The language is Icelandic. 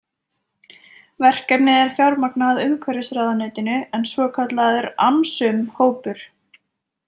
Verkefnið er fjármagnað af umhverfisráðuneytinu en svokallaður AMSUM hópur.